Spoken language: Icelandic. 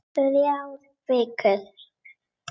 Þrjár vikur.